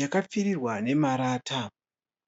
yakapfirirwa nemarata.